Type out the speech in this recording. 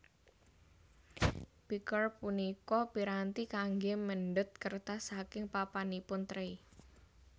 Picker punika piranti kanggé mendhet kertas saking papanipun tray